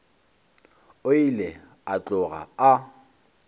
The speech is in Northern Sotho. o ile a tloga a